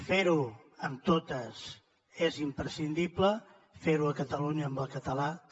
fer ho amb totes és imprescindible fer ho a catalunya amb el català també